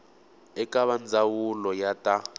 eka va ndzawulo ya ta